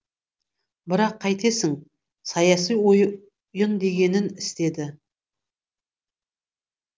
бірақ қайтесің саяси ойын дегенін істеді